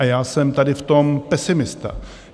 A já jsem tady v tom pesimista.